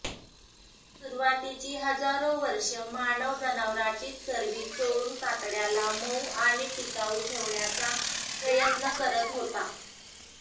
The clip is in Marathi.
सुरुवातीची हजारो वर्षे मानव जनावराचीच चरबी चोळून कातडय़ाला मऊ आणि टिकाऊ ठेवण्याचा प्रयत्न करत होता